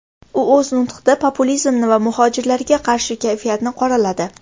U o‘z nutiqda populizmni va muhojirlarga qarshi kayfiyatni qoraladi.